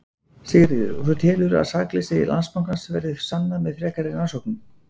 Sigríður: Og þú telur að sakleysi Landsbankans verði sannað með frekari rannsóknum?